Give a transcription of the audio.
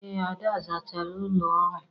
Ee Ada, zachara ụlọ ọrụ.